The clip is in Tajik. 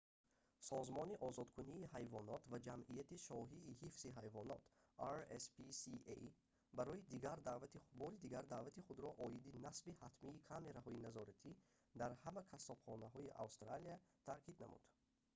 созмони озодкунии ҳайвонот ва ҷамъияти шоҳии ҳифзи ҳайвонот rspca бори дигар даъвати худро оиди насби ҳатмии камераҳои назоратӣ дар ҳама қассобхонаҳои австралия таъкид намуд